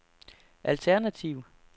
alternativ